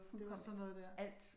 Det var sådan noget der